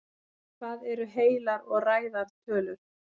hvað eru heilar og ræðar tölur